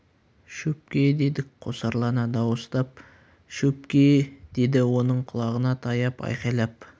шөпке дедік қосарлана дауыстап шө-өп-ке-е деді оның құлағына таяп айқайлап